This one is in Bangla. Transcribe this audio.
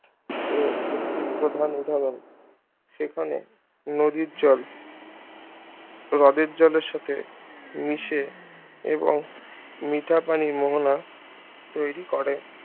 এর একটি প্রধান উদাহরণ সেখানে নদীর জল হ্রদের জলের সাথে মিশে এবং মিঠা পানি মোহনা তৈরী করে